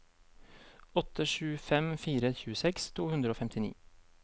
åtte sju fem fire tjueseks to hundre og femtini